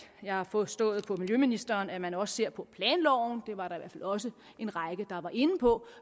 jeg forstået på miljøministeren at man også ser på planloven det var der i hvert fald også en række der var inde på